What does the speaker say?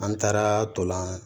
An taara tolan